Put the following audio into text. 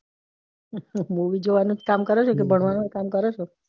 movie જોવાનુજ કામ કરે છો કે ભણવાનું કામ કરે છો.